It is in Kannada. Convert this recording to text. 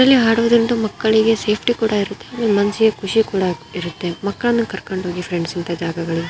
ಇದರಲ್ಲಿ ಆಡೋದರಿಂದ ಮಕ್ಕಳಿಗೆ ಸೇಫ್ಟಿ ಕೂಡ ಇರುತ್ತೆ ಮನಸ್ಸಿಗೆ ಖುಷಿ ಕೂಡ ಆಗ್ತಿರುತ್ತೆ ಮಕ್ಕಳನ್ನು ಕರ್ಕೊಂಡು ಹೋಗಿ ಫ್ರೆಂಡ್ಸ್ ಇಂಥ ಜಾಗಗಳಿಗೆ.